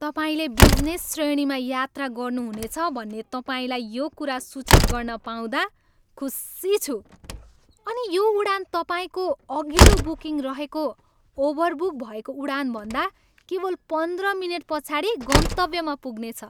तपाईँले बिजनेस श्रेणीमा यात्रा गर्नुहुनेछ भन्ने तपाईँलाई यो कुरा सूचित गर्न पाउँदा खुसी छु अनि यो उडान तपाईँको अघिल्लो बुकिङ रहेको ओभरबुक भएको उडानभन्दा केवल पन्ध्र मिनेट पछाडि गन्तव्यमा पुग्नेछ।